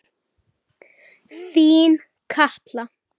Þín Katla.